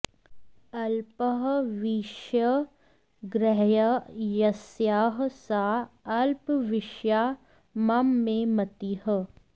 अल्पः विषयः ग्राह्यः यस्याः सा अल्पविषया मम मे मतिः